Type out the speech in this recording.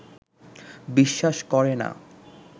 বিশ্বাস করে না